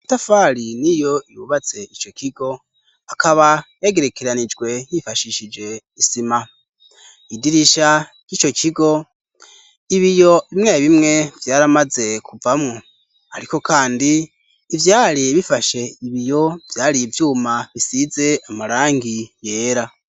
Amatafari n'iyo yubatse ico kigo akaba yagerekeranijwe yifashishije isima idirisha ry' ico kigo ibiyo bimwe bimwe vyari bimaze kuvamwo ariko kandi ivyari bifashe ibiyo vyari ivyuma bisize amarangi yera.